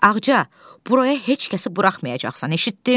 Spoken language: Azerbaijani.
Ağca, buraya heç kəsi buraxmayacaqsan, eşitdin?